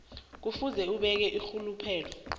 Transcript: kufuze abeke irhuluphelo